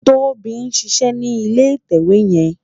Tobi n ṣiṣè ni ilé itèwé yèn